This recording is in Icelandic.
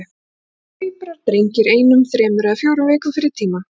Þar fæddust tvíburar, drengir, einum þremur eða fjórum vikum fyrir tímann.